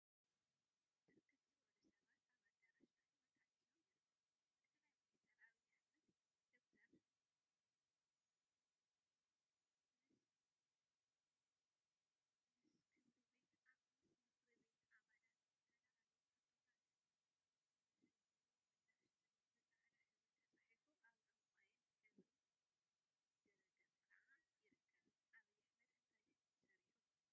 ብርክት ዝበሉ ሰባት አበ አደራሽ አኬባ ተአኪቦም ይርከቡ፡፡ “ጠቅላይ ሚኒስትር ዐቢይ አሕመድ/ዶ/ር ምስ ክብሪ ቤት አባላት ዝተለዓሉ ሕቶታት ዝሃብዎ ምላሽ” ዝብል ብፃዕዳ ሕብሪ ተፃሒፉ አብ ዕንቋይ ሕብሪ ድሕረ ገፅ ከዓ ይርከቡ፡፡ ዐብይ ሓመድ እንታይ ስርሑ?